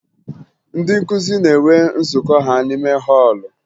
Ndị nkụzi na-enwe nzụkọ ha n'ime họọlụ